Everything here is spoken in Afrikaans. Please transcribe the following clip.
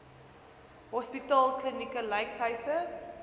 hospitaal klinieke lykshuise